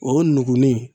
O nugulen